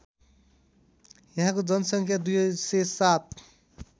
यहाँको जनसङ्ख्या २०७